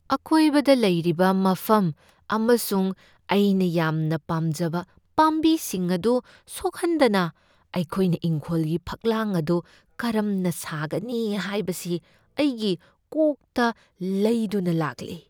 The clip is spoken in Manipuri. ꯑꯀꯣꯏꯕꯗ ꯂꯩꯔꯤꯕ ꯃꯐꯝ ꯑꯃꯁꯨꯡ ꯑꯩꯅ ꯌꯥꯝꯅ ꯄꯥꯝꯖꯕ ꯄꯥꯝꯕꯤꯁꯤꯡ ꯑꯗꯨ ꯁꯣꯛꯍꯟꯗꯅ ꯑꯩꯈꯣꯏꯅ ꯏꯪꯈꯣꯜꯒꯤ ꯐꯛꯂꯥꯡ ꯑꯗꯨ ꯀꯔꯝꯅ ꯁꯥꯒꯅꯤ ꯍꯥꯏꯕꯁꯤ ꯑꯩꯒꯤ ꯀꯣꯛꯇ ꯂꯩꯗꯨꯅ ꯂꯥꯛꯂꯤ꯫